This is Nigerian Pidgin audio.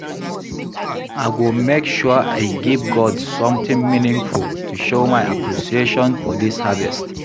I go make sure I give God something meaningful to show my appreciation for dis harvest